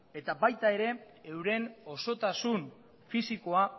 eta baita ere euren osotasun fisikoa